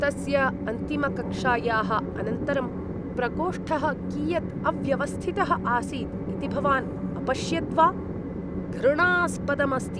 तस्य अन्तिमकक्षायाः अनन्तरं प्रकोष्ठः कियद् अव्यवस्थितः आसीत् इति भवान् अपश्यद्वा? घृणास्पदम् अस्ति।